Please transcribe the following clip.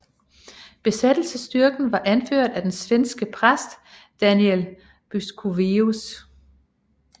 Besættelsesstyrken var anført af den svenske præst Daniel Buskovius